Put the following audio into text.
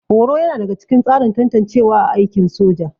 Horo yana daga cikin tsarin tantancewa a aikin soja